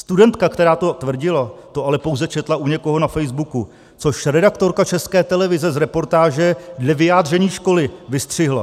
Studentka, která to tvrdila, to ale pouze četla u někoho na Facebooku, což redaktorka České televize z reportáže dle vyjádření školy vystřihla.